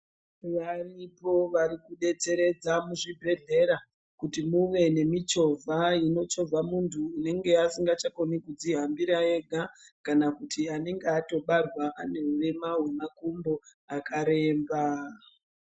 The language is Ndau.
Varipo varikudetseredza muzvibhedhlera kuti muve nemichovha inochovha muntu unenge asingachakoni kudzihambira ega kana kuti anenge atobarwa anehurema hwemakumbo akaremba.